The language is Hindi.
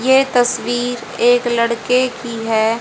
ये तस्वीर एक लड़के की है।